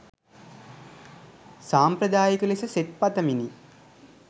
සාම්ප්‍රදායික ලෙස සෙත් පතමිනි